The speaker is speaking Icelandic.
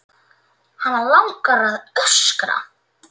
Hana langar að öskra.